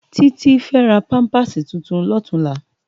Titi fè rá pàmpásí tútún lòtúnlá